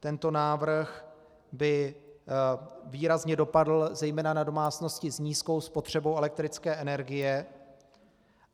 Tento návrh by výrazně dopadl zejména na domácnosti s nízkou spotřebou elektrické energie.